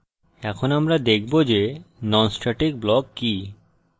এখন আমরা দেখব যে non static block কি